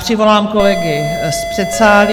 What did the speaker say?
Přivolám kolegy z předsálí.